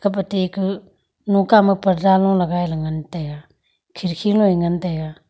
kape te ka noka ma parda lo lgai la ngan taga kherki loi ngan taga.